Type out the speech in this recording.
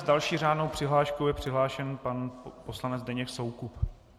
S další řádnou přihláškou je přihlášen pan poslanec Zdeněk Soukup.